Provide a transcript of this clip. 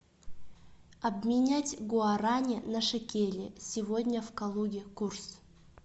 обменять гуарани на шекели сегодня в калуге курс